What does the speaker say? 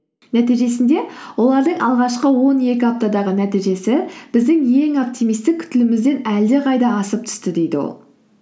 нәтижесінде олардың алғашқы он екі аптадағы нәтижесі біздің ең оптимистік күтілімімізден әлдеқайда асып түсті дейді ол